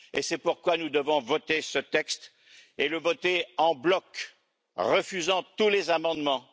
C'est pourquoi nous devons voter ce texte et le voter en bloc, en refusant tous les amendements.